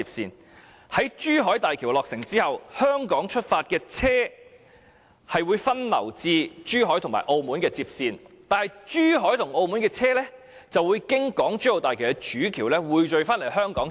日後當珠海大橋落成，由香港出發的車輛將會分流至珠海和澳門接線，但珠海和澳門車輛則會經港珠澳大橋的主橋匯聚到香港接線。